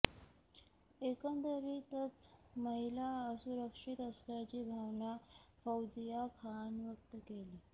एकंदरीतच महिला असुरक्षीत असल्याची भावना फौजिया खान व्यक्त केली